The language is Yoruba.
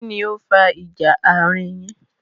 Kínní ó fa ìjà àárín yin?